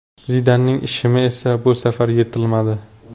Zidanning shimi esa bu safar yirtilmadi.